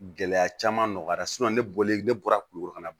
Gɛlɛya caman nɔgɔyara ne bɔlen ne bɔra kulikoro ka ban